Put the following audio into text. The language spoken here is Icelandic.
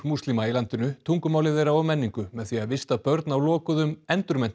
múslima í landinu tungumáli þeirra og menningu með því að vista börn á lokuðum